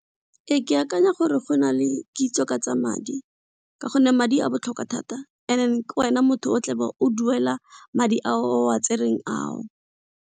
Ke akanya gore go na le kitso ka tsa madi ka gonne madi a botlhokwa thata and then kwena motho o tlabe o duela madi a o a tserweng ao.